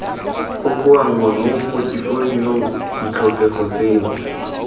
kokoanngwa mo potefoliong ditlhokego tseno